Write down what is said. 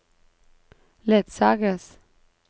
ledsages